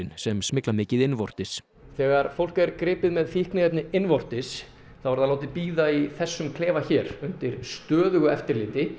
sem smygla mikið innvortis þegar fólk er gripið með fíkniefni innvortis þá er það látið bíða í þessum klefa hér undir stöðugu eftirliti